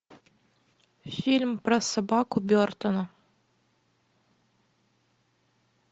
фильм про собаку бертона